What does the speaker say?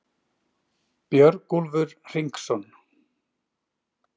Björgúlfur Hringsson,